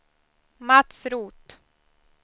Mats Roth